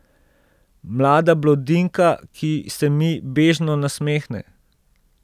Mlada blondinka, ki se mi bežno nasmehne.